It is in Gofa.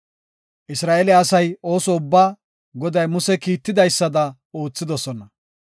Isra7eele asay ooso ubbaa, Goday Muse kiitidaysada oothidosona.